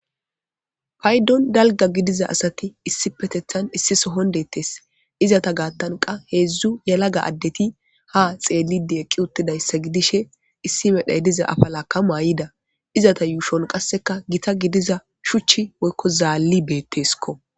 Paydon dalga gidiza asati issi petethan issi sohon dettes. Izata gaattankka heedzdzu yalaga addeti ha xeellide eqqi uttidayssa gidishe issi medhay diza afa laaka mayida izata yuushon qasseka gita gidiza shuchchi woykko zaalli beetteskko.